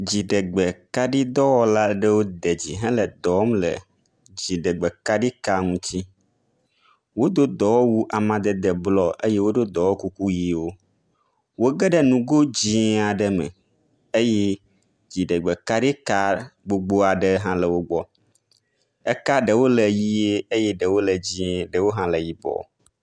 Dziɖegbekaɖidɔwɔla aɖewo de dzi hele dɔ wɔm le dziɖegbe kaɖi ka ŋuti. Wodo dɔwɔwu amadede blɔ eye woɖo dɔwɔkuku ʋiwo. Wo geɖe nugo dzi aɖe me eye dziɖegbe kaɖi ka gbogbo aɖe hã e wo gbɔ. Eka ɖewo le ʋie eye ɖewo le dzi ɖewo hã le yibɔ.